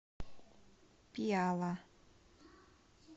пиала